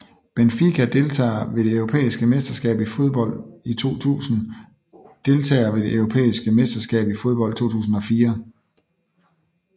Benfica Deltagere ved det europæiske mesterskab i fodbold 2000 Deltagere ved det europæiske mesterskab i fodbold 2004